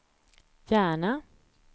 Järna